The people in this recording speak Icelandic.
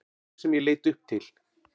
Þig sem ég leit upp til.